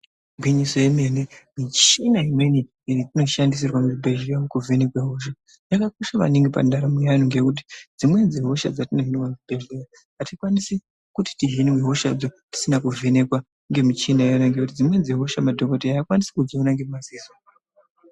Igwinyiso remene michina imweni iri kushandiswa muzvibhedhlera umu kuvhenekwa yakanaka maningi pandaramo yevanhtu ngendaa yekuti dzimweni dzehosha atikwanisi kuti tihinwe hosha dzetisina kuvhenekwa nemichini ngendaa yekuti dzimweni dzehosha madhokoteya akwanisi kudziona ngemaziso.